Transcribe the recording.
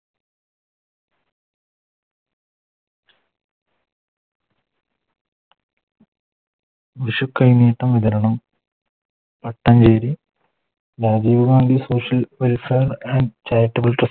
വിഷു കൈനീട്ടം വിതരണം പട്ടം വേര് Rajiv Gandhi Social welfare and charitable trust